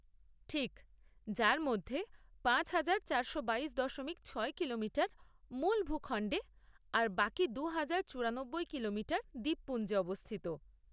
ঠিক, যার মধ্যে পাঁচ হাজার চারশো বাইশ দশমিক ছয় কিলোমিটার মূল ভূখণ্ডে আর বাকি দু হাজার চুরানব্বই কিলোমিটার দ্বীপপুঞ্জে অবস্থিত।